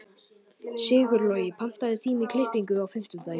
Sigurlogi, pantaðu tíma í klippingu á fimmtudaginn.